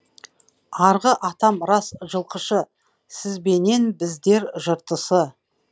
арғы атам рас жылқышы сізбенен біздер жыртысы